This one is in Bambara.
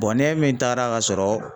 n'e min taara ka sɔrɔ